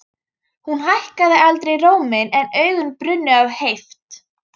Hún hækkaði aldrei róminn en augun brunnu af heift.